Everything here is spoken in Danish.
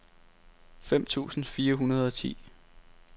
fem tusind fire hundrede og ti